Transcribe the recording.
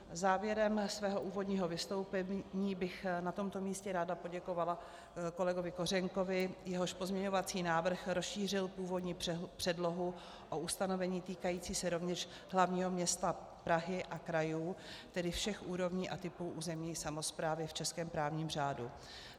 Závěrem svého úvodního vystoupení bych na tomto místě ráda poděkovala kolegovi Kořenkovi, jehož pozměňovací návrh rozšířil původní předlohu o ustanovení týkající se rovněž hlavního města Prahy a krajů, tedy všech úrovní a typů územní samosprávy v českém právním řádu.